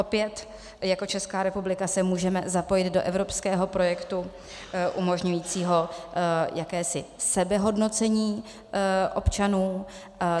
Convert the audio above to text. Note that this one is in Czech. Opět jako Česká republika se můžeme zapojit do evropského projektu umožňujícího jakési sebehodnocení občanů.